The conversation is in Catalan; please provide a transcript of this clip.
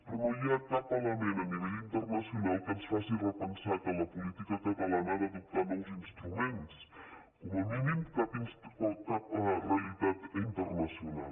però no hi ha cap element a nivell internacional que ens faci repensar que la política catalana ha d’adoptar nous instruments com a mínim cap realitat internacional